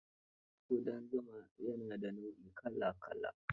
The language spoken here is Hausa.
Ƙudan zuma ya na da nau'i kala-kala